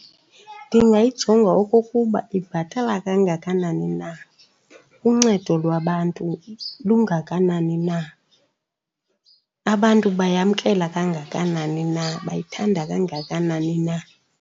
Ndingayijonga okokuba ibhatala kangakanani na, uncedo lwabantu lungakanani na, abantu bayamkela kangakanani na, bayithanda kangakanani na.